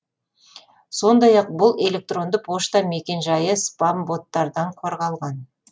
сондай ақ бұл электронды пошта мекен жайы спам боттардан қорғалған